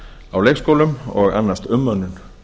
á leikskólum og annast umönnun